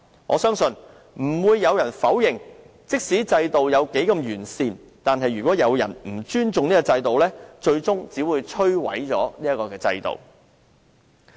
我相信沒有人會否認，無論制度多完善，但如果有人不尊重制度，最終只會把它摧毀。